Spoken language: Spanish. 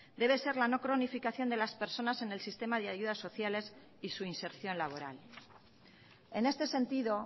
debe ser la no cronificación de las personas en el sistema de ayudas sociales y su inserción laboral en este sentido